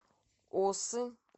осы